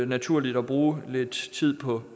naturligt at bruge lidt tid på